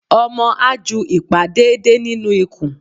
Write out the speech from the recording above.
Omo a jú ipá deede ninú ikùn